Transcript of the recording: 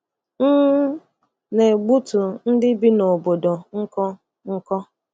M na-egbutu ndị bi n’obodo nkụ nkụ.